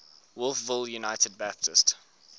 wolfville united baptist